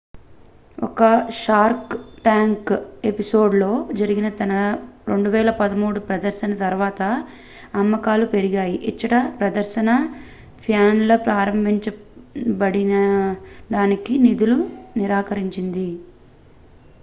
ఒక Shark Tank episode లో జరిగిన తన 2013 ప్రదర్శన తర్వాత అమ్మకాలు పెరిగాయి ఇచ్చట ప్రదర్శన ప్యానెల్ ప్రారంభించడానికి నిధులను నిరాకరించింది